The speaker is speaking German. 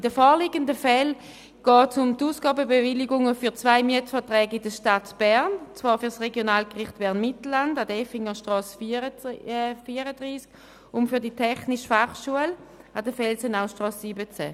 In den vorliegenden Fällen geht es um die Ausgabenbewilligungen für zwei Mietverträge in der Stadt Bern, und zwar für das Regionalgericht Bern-Mittelland an der Effingerstrasse 34 und für die Technische Fachschule Bern (TF Bern) an der Felsenaustrasse 17.